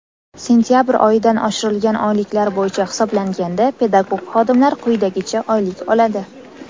Sentabr oyidan oshirilgan oyliklar bo‘yicha hisoblanganda pedagog xodimlar quyidagicha oylik oladi:.